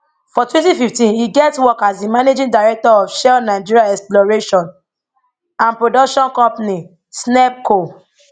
for 2015 e get work as di managing director of shell nigeria exploration and production company snepco